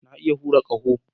Na iya hura ƙaho